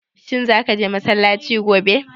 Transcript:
Shin za ka je massalaci gobe?